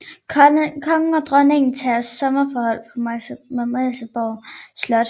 Kongen og dronningen tager sommerophold på Marselisborg Slot